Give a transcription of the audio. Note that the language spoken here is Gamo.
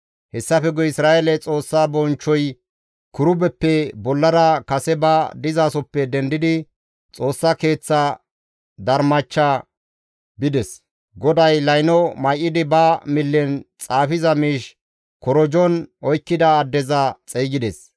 Hessafe guye Isra7eele Xoossa bonchchoy kirubeppe bollara kase ba dizasoppe dendidi Xoossa Keeththa darmach bides. GODAY layno may7idi ba millen xaafiza miish korojon oykkida addeza xeygides.